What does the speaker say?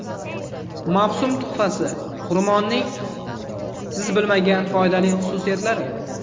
Mavsum tuhfasi: xurmoning siz bilmagan foydali xususiyatlari.